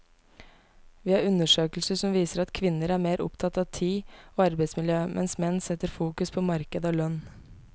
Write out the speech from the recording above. Vi har undersøkelser som viser at kvinner er mer opptatt av tid og arbeidsmiljø, mens menn setter fokus på marked og lønn.